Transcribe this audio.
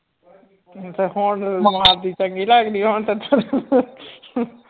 ਅੱਛਾ ਹੁਣ ਮਾਰਦੀ ਚੰਗੀ ਲੱਗਦੀ ਹਾਂ ਹੁਣ ਤਾਂ